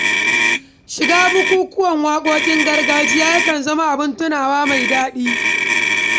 Shiga bukukuwan waƙoƙin gargajiya ya kan zama abin tunawa mai daɗi.